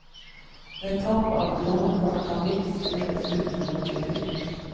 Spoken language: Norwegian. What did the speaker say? Ved tap av lånekort kan nytt skrives ut mot gebyr.